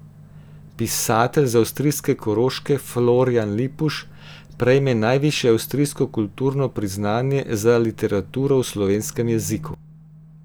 Pisatelj z avstrijske Koroške Florjan Lipuš prejme najvišje avstrijsko kulturno priznanje za literaturo v slovenskem jeziku.